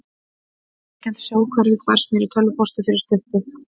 Meðfylgjandi sjónhverfing barst mér í tölvupósti fyrir stuttu.